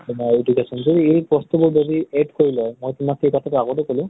তোমাৰ education ৰ এই বস্তু বোৰ যদি add কৰি লয়, মই তোমাক সেই কথাতো আগতেই কʼলো